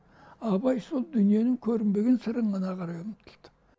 абай сол дүниенің көрінбеген сырын ғана қарай ұмтылды